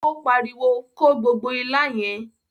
O pariwo, "Ko gbogbo ilá yẹn!"